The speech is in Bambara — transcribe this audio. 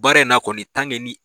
Baara in na kɔni ni.